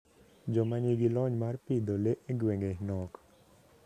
Joma nigi lony mar pidho le e gwenge nok.